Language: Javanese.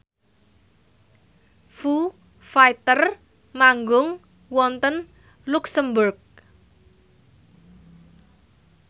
Foo Fighter manggung wonten luxemburg